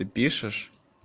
и пишешь